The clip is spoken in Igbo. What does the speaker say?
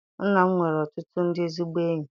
Nna m nwere ọtụtụ ndị ezigbo enyi.